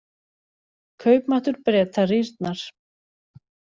Kaupmáttur Breta rýrnar